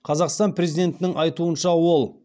қазақстан президентінің айтуынша ол